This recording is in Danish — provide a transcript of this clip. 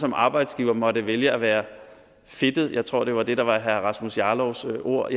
en arbejdsgiver måtte vælge at være fedtet jeg tror at det var det der var herre rasmus jarlovs ord